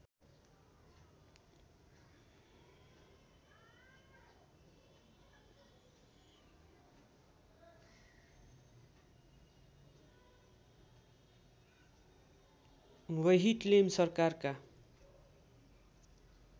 व्यहिटलेम सरकारका